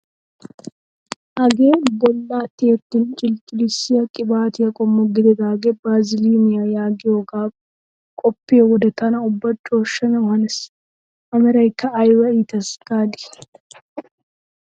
Hagee bollaa tiyettin cilicilissiyaa qibaatiyaa qommo gididagee baziliniyaa yaagiyoogaa qoppiyoo wode tana ubba cooshshanaw hanees! A meraykka ayba iites gaadii!